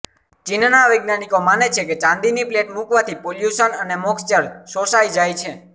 ચીનના વૈજ્ઞાાનિકો માને છે કે ચાંદીની પ્લેટ મૂકવાથી પોલ્યુશન અને મોક્ષ્ચર શોષાય જાય છે